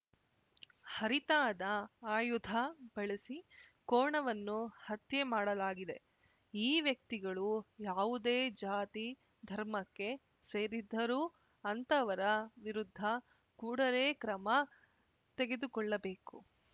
ಹರಿತಾದ ಆಯುಧ ಬಳಸಿ ಕೋಣವನ್ನು ಹತ್ಯೆ ಮಾಡಲಾಗಿದೆ ಈ ವ್ಯಕ್ತಿಗಳು ಯಾವುದೇ ಜಾತಿ ಧರ್ಮಕ್ಕೆ ಸೇರಿದ್ದರೂ ಅಂತವರ ವಿರುದ್ಧ ಕೂಡಲೇ ಕ್ರಮ ತೆಗೆದುಕೊಳ್ಳಬೇಕು